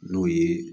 N'o ye